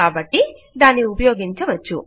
కాబట్టి దాన్ని ఉపయోగించవచ్చు